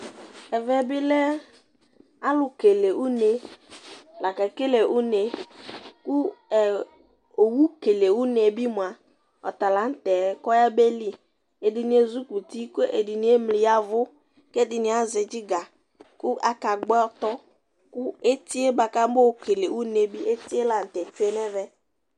Ɛvɛ bi lɛ alʋ kele une lakekele une kʋ ɛ owu kele une yɛ bi mua, ɔtala n'tɛ k'ɔyab'eli Ɛdini ezik'uti k'ɛdini emli yavʋ, k'ɛdini azɛ dziga, kʋ aka gbɔ ɔtɔ, kʋ eti yɛ bua k'ama yɔ lele une yɛ bi eti yɛ la n'tɛ tsue n'ɛvɛ